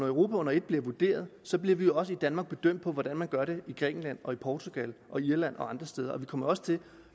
europa under et bliver vurderet så bliver vi jo også i danmark bedømt på hvordan man gør det i grækenland og portugal og irland og andre steder og vi kommer også til